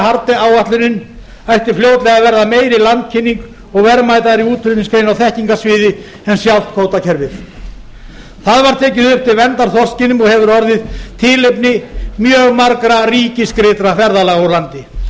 haarde áætlunin ætti fljótlega að verða meiri landkynning og verðmætari útflutningsgrein á þekkingarsviði en sjálft kvótakerfið það var tekið upp til verndar þorskinum og hefur orðið tilefni mjög margra ríkisgreiddra ferðalaga úr landi sú